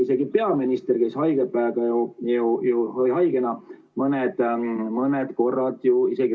Isegi peaminister käis haigena mõned korrad ju Riigikogu istungil ...